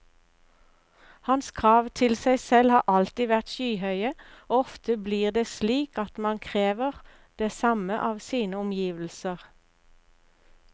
Hans krav til seg selv har alltid vært skyhøye, og ofte blir det slik at man krever det samme av sine omgivelser.